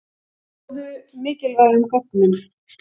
Náðu mikilvægum gögnum